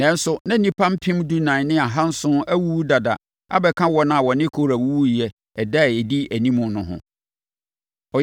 nanso, na nnipa mpem dunan ne ahanson awuwu dada abɛka wɔn a wɔne Kora wuwuiɛ ɛda a ɛdi animu no ho.